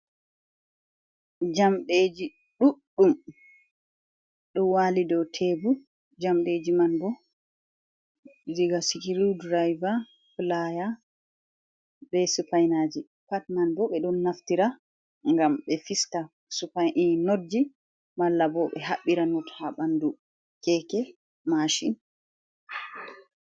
Jamɗeji ɗuɗɗum, ɗo wali dow tebur jamɗeji man bo diga sru-direva, playa, be supinaji, pat man bo ɓe don naftira gam ɓe fista supaii notji, malla bo ɓe haɓɓira not ha ɓandu keke mashin.